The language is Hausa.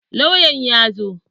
Lauyan ya zo.